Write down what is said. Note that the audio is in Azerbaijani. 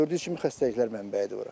Gördüyünüz kimi xəstəliklər mənbəyidir bura.